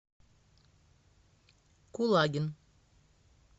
кулагин